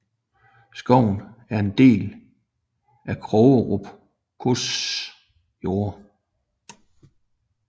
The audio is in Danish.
Skoven er en del af Krogerup gods jorder